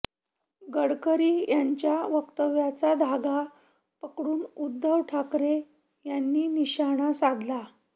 गडकरी यांच्या वक्तव्याचा धागा पकडून उद्धव ठाकरे यांनी निशाणा साधला